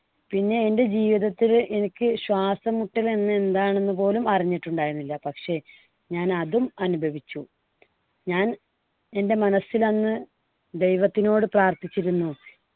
പിന്നെ എൻടെ ജീവിതത്തില് എനിക്ക് ശ്വാസംമുട്ടല് എന്ന് എന്താണെന്ന് പോലും അറിഞ്ഞിട്ടുണ്ടായിരുന്നില്ല. പക്ഷേ ഞാൻ അതും അനുഭവിച്ചു. ഞാൻ എൻടെ മനസ്സിൽ അന്ന് ദൈവത്തിനോട് പ്രാർത്ഥിച്ചിരുന്നു